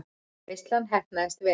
Veislan heppnaðist vel.